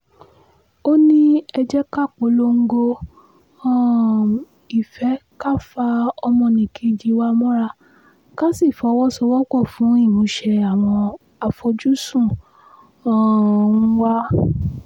ó ní ẹ jẹ́ ká polongo um ìfẹ́ ká fa ọmọnìkejì wa mọ́ra ká sì fọwọ́sowọ́pọ̀ fún ìmúṣẹ àwọn àfojúsùn um wa